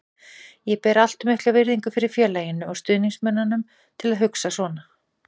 Ég ber allt of mikla virðingu fyrir félaginu og stuðningsmönnunum til að hugsa svona.